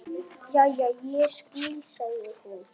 Jæja, ég skil, sagði hún.